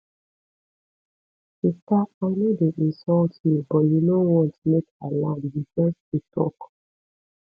sista i no dey insult you but you no want make i land you just dey talk